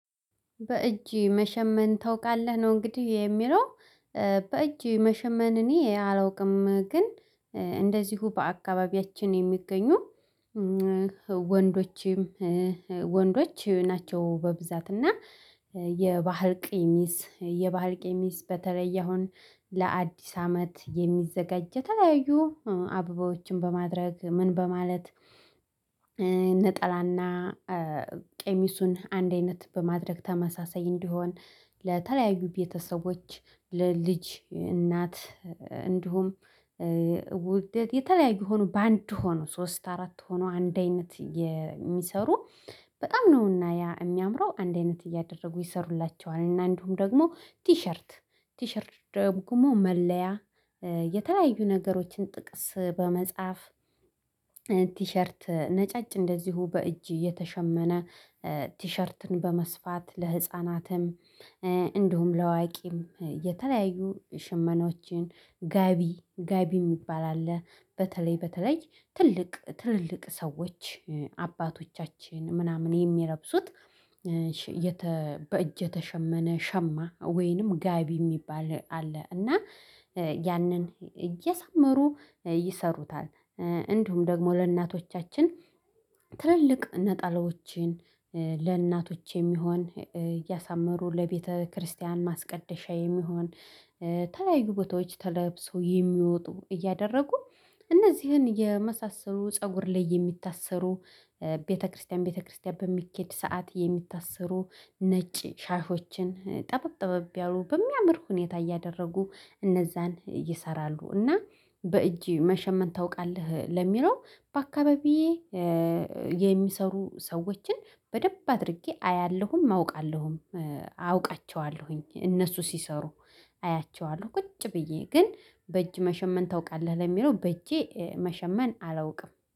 በእጅ መሸመን ታውቃለህ? ነው እንግዲህ የሚለው። በእጅ መሸመን እኔ አላውቅም፤ ግን እንደዚሁ በአካባቢያችን የሚገኙ ወንዶችም ወንዶች ናቸው በብዛት እና የባህል ቀሚስ የባህል ቀሚስ በተለየ አሁን ለአዲስ አመት የሚዘጋጅ፣ የተለያዩ አበባዎችን በማድረግ ምን በማለት ጠላና ቀሚሱን አንድ አይነት በማድረግ ተመሳሳይ እንዲሆን፣ ለተለያዩ ቤተሰቦች፣ ለልጅ እናት እንዲሁም ውድድር የተለያዩ ቢሆኑ በአንድ ሆኖ፣ ሶስት አራት ሆኖ አንድ አይነት የሚሰሩ በጣም ነውና ያ የሚያምረው፤ አንድ አይነት እያደረጉ ይሠሩላቸዋል። እንዲሁም ደግሞ ቲሸርት ቲሸርት ደግሞ መለያ፣ የተለያዩ ነገሮችን ጥቅስ በመጻፍ ቲሸርት ነጫጭ እንደዚሁ በእጅ የተሸመነ ቲሸርትን በመስፋት፣ ለሕፃናትም እንዲሁም ለአዋቂም የተለያዩ ሽመናዎችን፣ ጋቢ ጋቢ የሚባል አለ፤ በተለይ በተለይ ትልቅ ትልልቅ ሰዎች፣ አባቶቻችን ምናምን የሚለብሱት በእጅ የተሸመነ ሸማ ወይንም ጋቢ የሚባል አለ፤ እና ያንን እያሳመሩ ይሠሩታል፤ እንዲሁም ደግሞ ለእናቶቻችን ትልልቅ ነጠላዎችን ለእናቶች የሚሆን እያሳመሩ ለቤተ ክርስቲያን ማስቀደሻ የሚሆን የተለያዩ ቦታዎች ተለብሰው የሚወጡ እያደረጉ፣ እነዚህን የመሳሰሉ ፀጉር ላይ የሚታሰሩ ቤተ ክርስቲያን ቤተ ክርስቲያን በሚሄድበት ሰዓት የሚታሰሩ ነጭ ሻሾችን ጠበብ ጠበብ ያሉ፣ በሚያምር ሁኔታ እያደረጉ እነዚያን ይሰራሉ። እና በእጅ መሸመን ታውቃለህ? ለሚለው፣ በአካባቢዬ የሚሰሩ ሰዎችን በደንብ አድርጌ አያለሁም፣ አውቃለሁም፣ አውቃቸዋለሁኝ፤ እነሱ ሲሰሩ አያቸዋለሁ ቁጭ ብዬ። ግን በእጅ መሸመን ታውቃለህ? ለሚለው፣ በእጄ መሸመን አላውቅም።